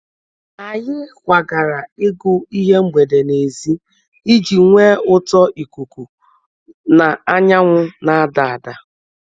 Anyị kwagara ịgụ ihe mgbede n'èzí iji nwee ụtọ ikuku na anyanwụ na-ada ada.